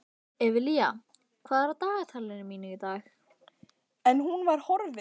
Evelía, hvað er á dagatalinu mínu í dag?